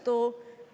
Aitäh!